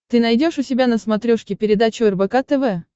ты найдешь у себя на смотрешке передачу рбк тв